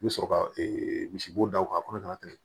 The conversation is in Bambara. I bɛ sɔrɔ ka misibo da o kan ka tɛmɛ